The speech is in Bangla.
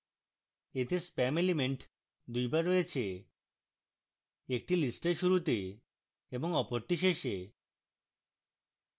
এতে spam element দুইবার রয়েছে একটি list এর শুরুতে এবং অপরটি শেষে